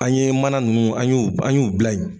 An ye mana nunnu an y'u an y'u bila ye